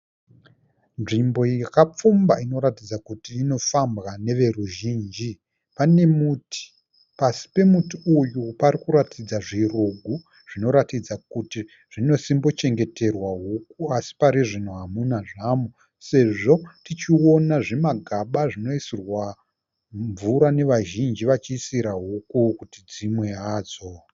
Nzvimbo yakapfumba inoratidza kuti inofambwa neveruzhinji. Pane muti, pasi pemuti uyu parikuratidza zvirugu zvinoratidza kuti zvinosimbochengeterwa huku así parizvino hamuna zvamo. Sezvo tichiona zvimagaba zvinoisirwa mvura nevazhinji vachiisira huku kuti dzimwe hadzo.